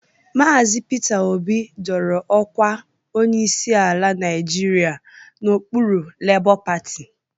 Maazị Pita Obi dọrọ ọkwa onyeisi ala Nịajịrịa n'okpuru lebọ pati